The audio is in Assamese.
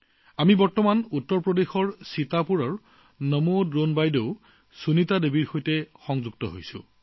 আমাৰ লগত বৰ্তমান উত্তৰ প্ৰদেশৰ সীতাপুৰৰ পৰা নমো ড্ৰোন দিদি সুনীতা জী সংযোগ হৈছে